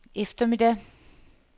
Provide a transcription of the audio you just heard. eftermiddag